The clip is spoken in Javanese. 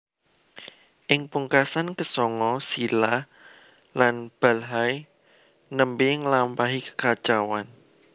Ing pungkasan ke sanga Silla lan Balhae nembe ngelampahi kekacauan